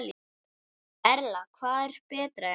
Erla: Hvað er betra hérna?